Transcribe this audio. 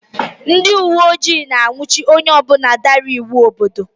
Ndị uwe ojii na-anwụchi onye ọ bụla dara iwu obodo